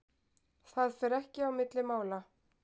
Það fer ekki á milli mála.